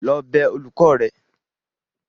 lọ bẹ olùkọ́ rẹ.!